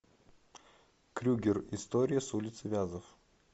крюгер история с улицы вязов